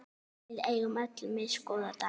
Við eigum öll misgóða daga.